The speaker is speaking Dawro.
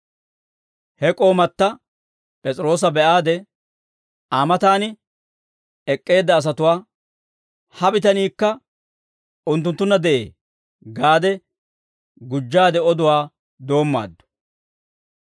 He k'oomata P'es'iroosa be'aade, Aa matan ek'k'eedda asatuwaa, «Ha bitaniikka unttunttunna de'ee» gaade gujjaade oduwaa doommaaddu.